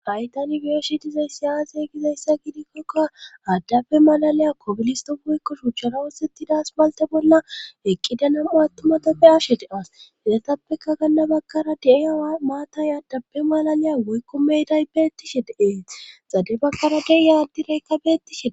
bhaytani biyashe dizayssi aase gizayssa gidikkokka aaddafe malaliya kobilisto boykko shuchchara woosettidas malta bolla eqqida nam7u attumatappe ashe deas heratappeka ganna bakara di7eya maatay addappe malaliya woykko meyday bettishe dee xade bakkara de7e yaardiraykka bettishe